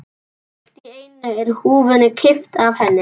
Allt í einu er húfunni kippt af henni!